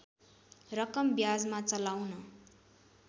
रकम ब्याजमा चलाउन